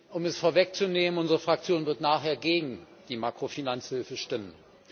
Um es vorwegzunehmen Unsere Fraktion wird nachher gegen die Makrofinanzhilfe stimmen.